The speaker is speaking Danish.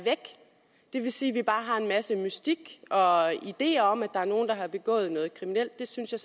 det vil sige at vi bare har en masse mystik og ideer om at der er nogle der har begået noget kriminelt og det synes jeg